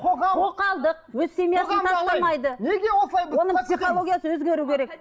оның психологиясы өзгеру керек